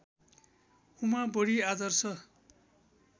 उमा बडी आदर्श